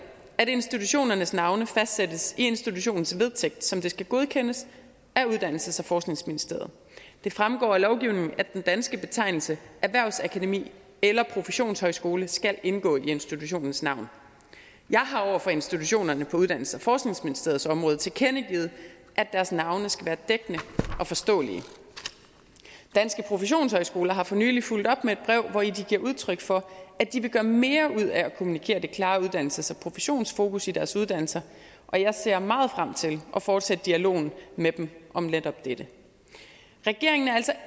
at institutionernes navne fastsættes i institutionens vedtægt som skal godkendes af uddannelses og forskningsministeriet det fremgår af lovgivningen at den danske betegnelse erhvervsakademi eller professionshøjskole skal indgå i institutionens navn jeg har over for institutionerne på uddannelses og forskningsministeriets område tilkendegivet at deres navne skal være dækkende og forståelige danske professionshøjskoler har for nylig fulgt op med et brev hvori de giver udtryk for at de vil gøre mere ud af at kommunikere det klare uddannelses og professionsfokus i deres uddannelser og jeg ser meget frem til at fortsætte dialogen med dem om netop dette regeringen er altså